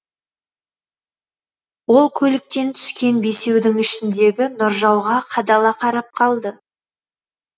ол көліктен түскен бесеудің ішіндегі нұржауға қадала қарап қалды